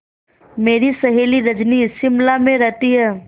मेरी सहेली रजनी शिमला में रहती है